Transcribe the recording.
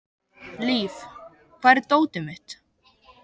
Líf, hvar er dótið mitt?